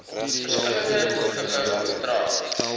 verskillende gewig dra